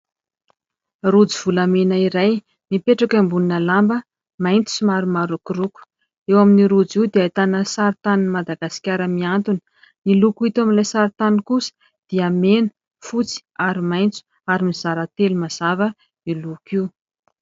Rojo volamena iray mipetraka ambonina lamba maitso sy somary marokoroko. Eo amin'io rojo io dia ahitana sarintan'ny Madagasikara mihantona. Ny loko hita eo amin'ilay sarintany kosa dia mena, fotsy ary maitso ary mizara telo mazava io loko io.